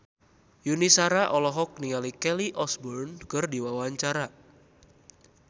Yuni Shara olohok ningali Kelly Osbourne keur diwawancara